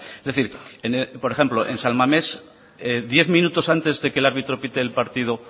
es decir por ejemplo en san mames diez minutos antes de que el árbitro pite el partido